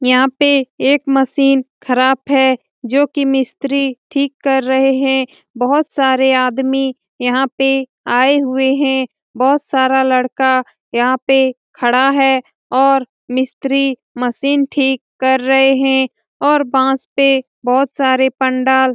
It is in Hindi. यहाँ पे एक मशीन खराब है जो की मिस्त्री टिक कर रहे है जोकि बहुत सारे आदमी यहाँ पे आये हुए है बहुत सारा लड़का यहाँ पे खड़ा है और मिस्त्री मशीन टिक कर रहे है और बांस पे बहुत सारे पंडाल --